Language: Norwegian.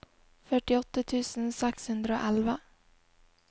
førtiåtte tusen seks hundre og elleve